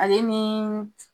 Ale niii.